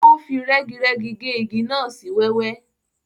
O fi rẹ́girẹ́gi ge igi náà sí wẹ́wẹ́.